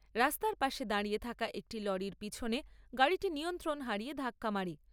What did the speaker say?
রাস্তার পাশে দাঁড়িয়ে থাকা একটি লরির পেছনে গাড়িটি নিয়ন্ত্রণ হারিয়ে ধাক্কা মারে।